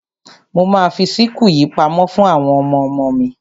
Mo ma fi síkù yìí pamọ́ fún àwọn ọmọmo mi.